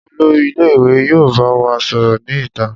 Olori ile-iwe yoo ba wa sọrọ ni ita.